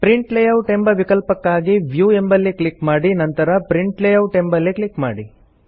print layout ಎಂಬ ವಿಕಲ್ಪಕ್ಕಾಗಿ view ಎಂಬಲ್ಲಿ ಕ್ಲಿಕ್ ಮಾಡಿ ನಂತರ ಪ್ರಿಂಟ್ ಲೇಯೌಟ್ ಎಂಬಲ್ಲಿ ಕ್ಲಿಕ್ ಮಾಡಿ